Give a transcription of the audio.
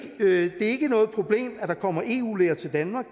er ikke noget problem at der kommer eu læger til danmark